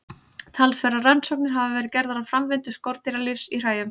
Talsverðar rannsóknir hafa verið gerðar á framvindu skordýralífs í hræjum.